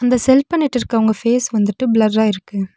இந்த செல் பண்ணிட்ருக்கவங்க ஃபேஸ் வந்துட்டு பிளர்ரா இருக்கு.